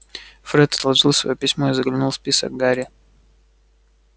фред отложил своё письмо и заглянул в список гарри